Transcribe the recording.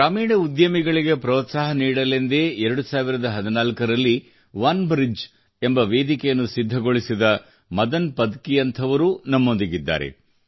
ಗ್ರಾಮೀಣ ಉದ್ಯಮಿಗಳಿಗೆ ಪ್ರೋತ್ಸಾಹ ನೀಡಲೆಂದೇ 2014 ರಲ್ಲಿ ಒನೆಬ್ರಿಡ್ಜ್ ಎಂಬ ವೇದಿಕೆಯನ್ನು ಸಿದ್ಧಗೊಳಿಸಿದ ಮದನ್ ಪದಕಿಯಂಥವರೂ ನಮ್ಮೊಂದಿಗಿದ್ದಾರೆ